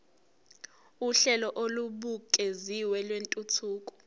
uhlelo olubukeziwe lwentuthuko